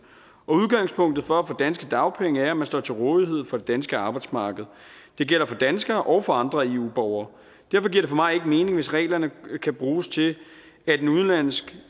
og udgangspunktet for at få danske dagpenge er at man står til rådighed for det danske arbejdsmarked det gælder for danskere og for andre eu borgere derfor giver det for mig ikke mening hvis reglerne kan bruges til at en udenlandsk